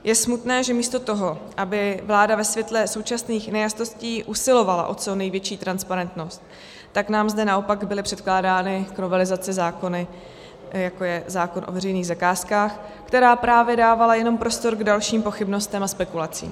Je smutné, že místo toho, aby vláda ve světle současných nejasností usilovala o co největší transparentnost, tak nám zde naopak byly předkládány k novelizaci zákony, jako je zákon o veřejných zakázkách, které právě dávaly jenom prostor k dalším pochybnostem a spekulacím.